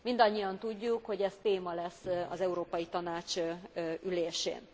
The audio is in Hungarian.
Mindannyian tudjuk, hogy ez téma lesz az Európai Tanács ülésén.